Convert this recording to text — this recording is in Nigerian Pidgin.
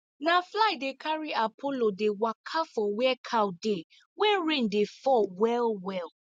na fly dey carry apollo dey waka for where cow dey when rain dey fall well well